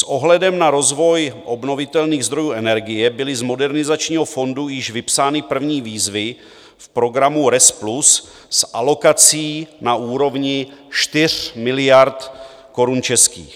S ohledem na rozvoj obnovitelných zdrojů energie byly z Modernizačního fondu již vypsány první výzvy v programu RES Plus s alokací na úrovni 4 miliard korun českých.